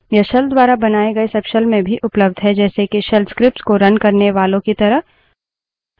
यह shells द्वारा बनाये गए सबशेल में भी उपलब्ध हैं जैसे के shells scripts को रन करने वालो की तरह